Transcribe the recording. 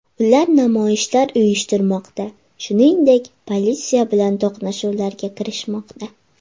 Ular namoyishlar uyushtirmoqda, shuningdek, politsiya bilan to‘qnashuvlarga kirishmoqda.